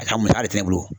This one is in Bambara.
A ka musaka ti ne bolo